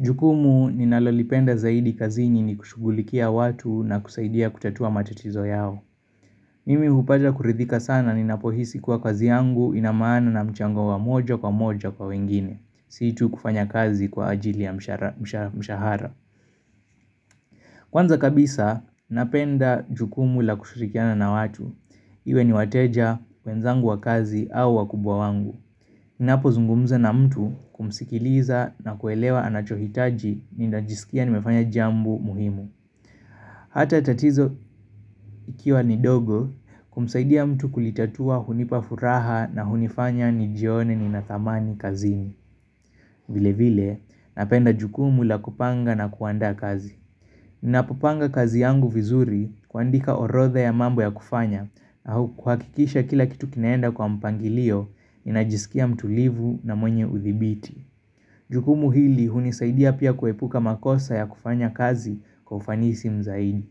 Jukumu ni nalolipenda zaidi kazi nini kushugulikia watu na kusaidia kutatua matatizo yao. Mimi hupata kuridhika sana ni napohisi kwa kazi yangu inamaana na mchango wa moja kwa moja kwa wengine. Situ kufanya kazi kwa ajili ya mshahara. Kwanza kabisa, napenda jukumu la kushirikiana na watu. Iwe ni wateja, wenzangu wa kazi au wa kubwa wangu. Ninapo zungumza na mtu kumsikiliza na kuelewa anachohitaji ni najisikia ni mefanya jambo muhimu Hata tatizo ikiwa ni dogo kumsaidia mtu kulitatua hunipafuraha na hunifanya ni jione ni na thamani kazini vile vile napenda jukumu la kupanga na kuandaa kazi Ninapo panga kazi yangu vizuri kua ndika orodha ya mambo ya kufanya au kuhakikisha kila kitu kinaenda kwa mpangilio ni najisikia mtu livu na mwenye uthibiti Jukumu hili hunisaidia pia kuepuka makosa ya kufanya kazi kwa ufanisi mzaidi.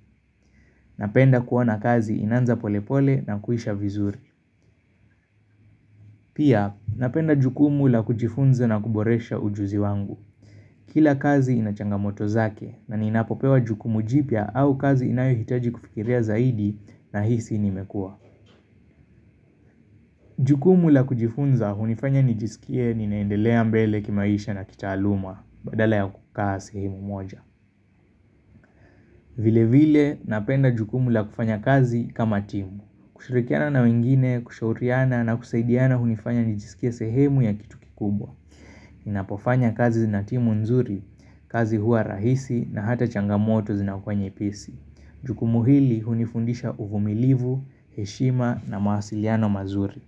Napenda kuona kazi inaanza polepole na kuisha vizuri. Pia napenda jukumu la kujifunza na kuboresha ujuzi wangu. Kila kazi inachanga moto zake na ninapopewa jukumu jipya au kazi inayo hitaji kufikiria zaidi na hisi nimekua. Jukumu la kujifunza hunifanya nijisikie ninaendelea mbele kimaisha na kita aluma badala ya kukaa sehemu moja. Vile vile napenda jukumu la kufanya kazi kama timu. Kushirikiana na wengine, kushauriana na kusaidiana hunifanya nijisikie sehemu ya kitu kikubwa. Ninapofanya kazi zinatimu nzuri, kazi huwa rahisi na hata changamoto zinakuwa nyepesi. Jukumu hili hunifundisha uvumilivu, heshima na mawasiliano mazuri.